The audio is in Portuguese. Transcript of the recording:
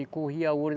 E corria ouro.